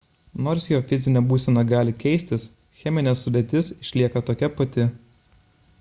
nors jo fizinė būsena gali keistis cheminė sudėtis išlieka tokia pati